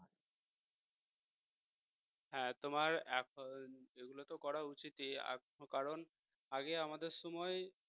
হ্যাঁ তোমার এখন এগুলোতো করা উচিতই আর কারণ আগে আমাদের সময়